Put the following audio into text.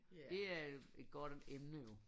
Det er et godt emne jo